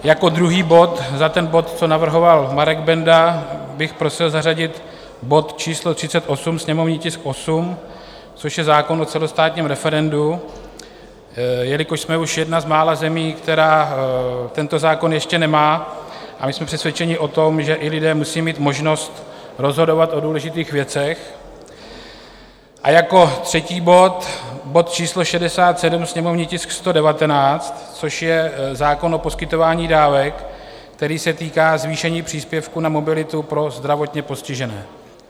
Jako druhý bod za ten bod, co navrhoval Marek Benda, bych prosil zařadit bod číslo 38, sněmovní tisk 8, což je zákon o celostátním referendu, jelikož jsme už jedna z mála zemí, která tento zákon ještě nemá, a my jsme přesvědčeni o tom, že i lidé musí mít možnost rozhodovat o důležitých věcech, a jako třetí bod, bod číslo 67, sněmovní tisk 119, což je zákon o poskytování dávek, který se týká zvýšení příspěvku na mobilitu pro zdravotně postižené.